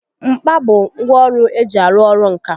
Mkpa bụ ngwá ọrụ eji arụ ọrụ ǹkà